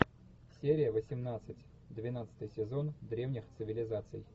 серия восемнадцать двенадцатый сезон древних цивилизаций